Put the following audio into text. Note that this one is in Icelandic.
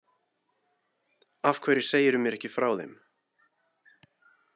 Af hverju segirðu mér ekki frá þeim?